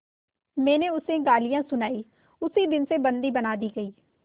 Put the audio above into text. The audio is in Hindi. मैंने उसे गालियाँ सुनाई उसी दिन से बंदी बना दी गई